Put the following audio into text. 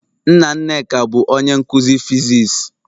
Nna Nneka bu onye nkuzi physics.